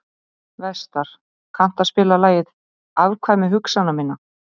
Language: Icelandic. Vestar, kanntu að spila lagið „Afkvæmi hugsana minna“?